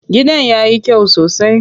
Gidan yayi kyau sosai.